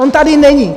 On tady není.